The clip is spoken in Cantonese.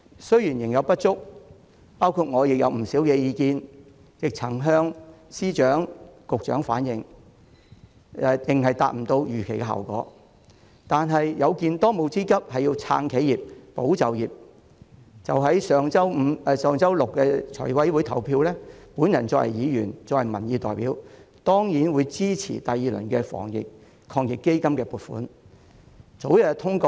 雖然仍有不足，包括我向司長和局長反映的不少意見仍無法達到預期效果，但有見當務之急是要撐企業、保就業，在上周六的財務委員會會議上表決時，身為議員和民意代表的我當然支持第二輪防疫抗疫基金的撥款。